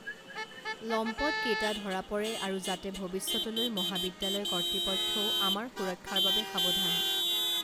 লম্পট কেইটা ধৰা পৰে আৰু যাতে ভৱিষ্যতলৈ মহাবিদ্যালয় কৰ্তৃপক্ষও আমাৰ সুৰক্ষাৰ বাবে সাৱধান